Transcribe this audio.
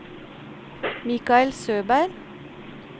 Michael Søberg